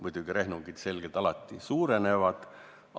Muidugi rehnungite tulemused selgelt alati suurenevad.